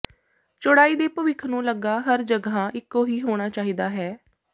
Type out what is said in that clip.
ਚੌੜਾਈ ਦੇ ਭਵਿੱਖ ਨੂੰ ਲੱਗਾ ਹਰ ਜਗ੍ਹਾ ਇੱਕੋ ਹੀ ਹੋਣਾ ਚਾਹੀਦਾ ਹੈ